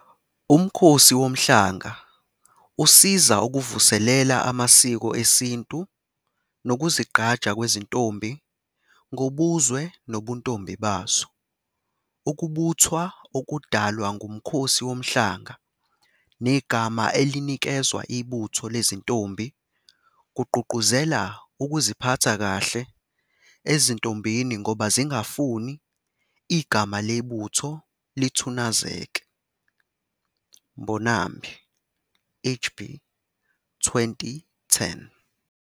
UMkhosi Womhlanga usiza ukuvuselela amasiko esintu nokuzigqaja kwezintombi ngobuzwe nobuntombi bazo. Ukubuthwa okudalwa nguMkhosi Womhlanga negama elinikezwa ibutho lezintombi kugqugquzela ukuziphatha kahle ezintombini ngoba zingafuni igama lebutho lithunazeke. Mbonambi, H. B., 2010.